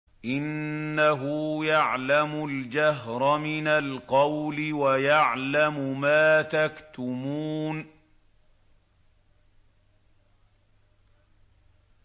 إِنَّهُ يَعْلَمُ الْجَهْرَ مِنَ الْقَوْلِ وَيَعْلَمُ مَا تَكْتُمُونَ